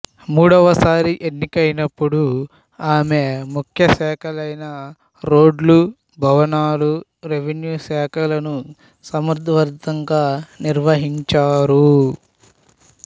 మూడవసారి ఎన్నికైనపుడు ఆమె ముఖ్య శాఖలైన రోడ్లు భవనాలు రెవెన్యూ శాఖలను సమర్థవంతంగా నిర్వహించారు